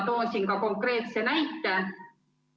Toon siinkohal konkreetse näite.